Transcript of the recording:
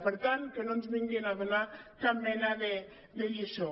per tant que no ens vinguin a donar cap mena de lliçó